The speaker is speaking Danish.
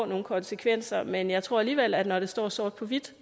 nogle konsekvenser men jeg tror alligevel at når det står sort på hvidt